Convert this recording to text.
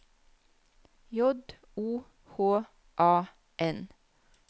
J O H A N